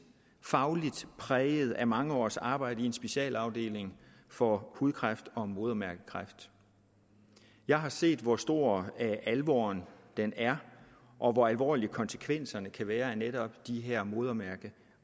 fagligt præget af mange års arbejde i en specialafdeling for hudkræft og modermærkekræft jeg har set hvor stor alvoren er og hvor alvorlige konsekvenserne kan være af netop de her modermærke